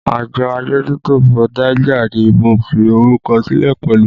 Àjọ adójútòfò Niger ni mo fi orúkọ sílẹ̀ pẹ̀lú